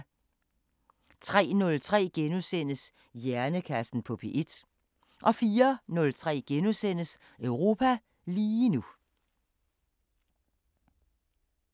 03:03: Hjernekassen på P1 * 04:03: Europa lige nu *